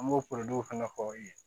An b'o fana fɔ i ye